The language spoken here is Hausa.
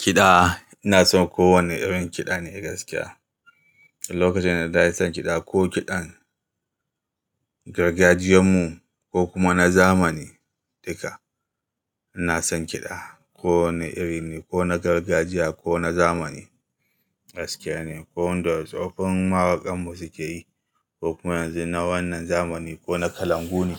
Kiɗa, ina son kowane irin kiɗa ne gaskiya. Lokacin da na tashi son kiɗa ko kiɗan, gargajiyan mu, ko kuma na zamani, duka ina son kiɗa. Ko wane irin ne, ko na gargajiya, ko na zamani, gaskiya ne. Ko wanda tsofon mawakan mu suke yi, ko kuma yanzu na wannan zamani, ko na kalangu ne,